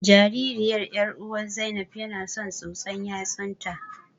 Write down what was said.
Jaririyar ƴaruwar Zainab yana son tsotsar yatsun ta.